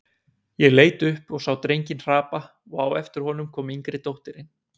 Ég leit upp og sá drenginn hrapa og á eftir honum kom yngri dóttirin.